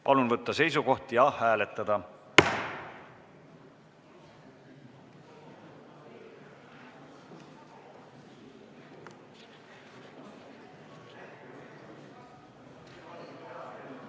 Palun võtta seisukoht ja hääletada!